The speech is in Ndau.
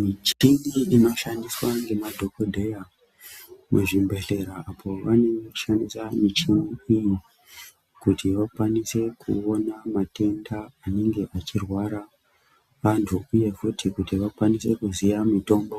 Michini inoshandiswa ngemadhogodheya muzvibhehlera apo vanenge vechishandisa michini iyi kuti vakwanise kuona matenda anenge achirwara vantu uye futi kuti vakwanise kuziya mitombo